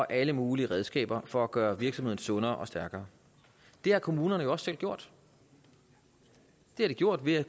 alle mulige redskaber for at gøre virksomheden sundere og stærkere det har kommunerne jo også selv gjort det har de gjort ved